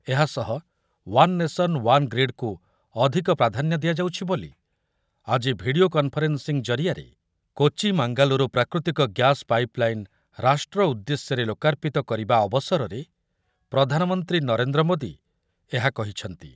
ଏହା ସହ one nation, one grid କୁ ଅଧିକ ପ୍ରଧାନ୍ୟ ଦିଆଯାଉଛି ବୋଲି ଆଜି ଭିଡିଓ କନଫରେନିଂ ଜରିଆରେ କୋଚି ମାଙ୍ଗାଲୁରୁ ପ୍ରାକୃତିକ ଗ୍ୟାସ ପାଇପଲାଇନ ରାଷ୍ଟ୍ର ଉଦ୍ଦେଶ୍ୟରେ ଲୋକାର୍ପିତ କରିବା ଅବସରରେ ପ୍ରଧାନମନ୍ତ୍ରୀ ନରେନ୍ଦ୍ର ମୋଦି ଏହା କହିଛନ୍ତି ।